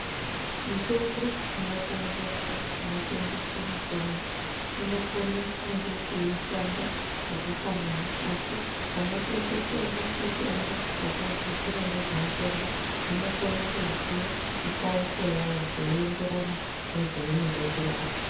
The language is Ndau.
Mitombo inotengeswa kunotengeswa mitombo inokone kunge ichishanda zvakafanana asi vanotengesa mo mitombo vakadzidzira ngezvemutombo vanokona kuziya mupauko yayo zveienderana nezvainoda kurapa.